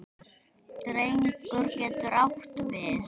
Drengur getur átt við